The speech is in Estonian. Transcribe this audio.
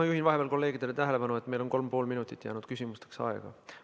Ma juhin vahepeal kolleegide tähelepanu sellele, et meil on ainult 3,5 minutit veel küsimusteks aega.